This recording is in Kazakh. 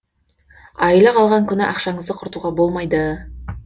айлық алған күні ақшаңызды құртуға болмайды